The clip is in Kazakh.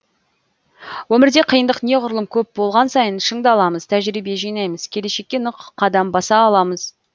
өмірде қиындық неғұрлым көп болған сайын шыңдаламыз тәжірибе жинаймыз келешекке нық қадам баса аламыз